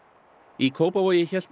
í Kópavogi hélt